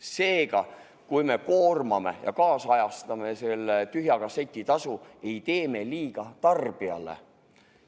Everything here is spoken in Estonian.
Seega, kui me ajakohastame selle tühja kasseti tasu, ei tee me liiga tarbijale.